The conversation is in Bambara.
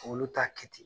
Olu t'a kɛ ten